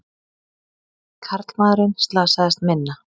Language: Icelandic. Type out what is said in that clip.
Karlmaðurinn slasaðist minna